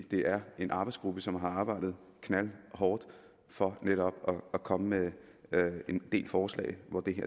det er en arbejdsgruppe som har arbejdet knaldhårdt for netop at komme med en del forslag hvor